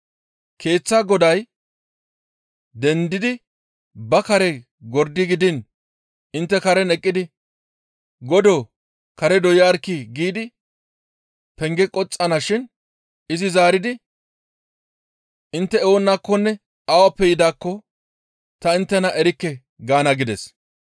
Keeththaa goday dendidi ba kare gordi gidiin intte karen eqqidi, ‹Godoo! Kare doyarkkii!› giidi penge qoxxana shin izi zaaridi, ‹Intte oonakkonne awappe yidaakko ta inttena erikke› gaana gides.